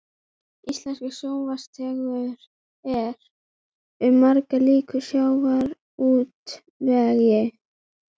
Íslenskur sjávarútvegur er um margt líkur sjávarútvegi